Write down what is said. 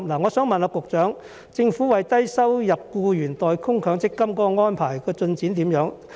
我想問局長，政府為低收入僱員代供強積金的安排進展如何？